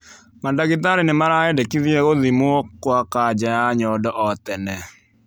Madagitari nĩ maraendekithia gũthimwo kwa kaja ya nyondo o tene.